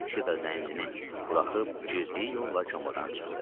Şita zəncini buraxıb girdiyi yolla komadan çıxdı.